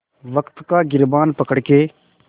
वक़्त का गिरबान पकड़ के